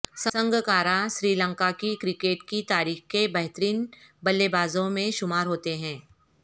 سنگاکارا سری لنکا کی کرکٹ کی تاریخ کے بہترین بلے بازوں میں شمار ہوتے ہیں